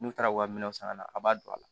N'u taara u ka minɛnw san ka na a b'a don a la